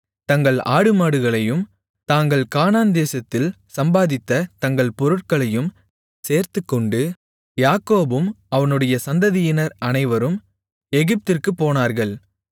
தங்கள் ஆடுமாடுகளையும் தாங்கள் கானான் தேசத்தில் சம்பாதித்த தங்கள் பொருட்களையும் சேர்த்துக்கொண்டு யாக்கோபும் அவனுடைய சந்ததியினர் அனைவரும் எகிப்திற்குப் போனார்கள்